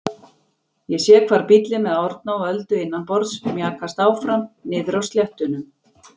Ég sé hvar bíllinn með Árna og Öldu innanborðs mjakast áfram niðri á sléttunum.